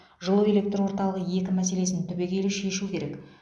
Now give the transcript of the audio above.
жылу электор орталығы екі мәселесін түбегейлі шешу керек